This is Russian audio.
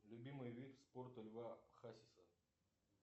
любимый вид спорта льва хасиса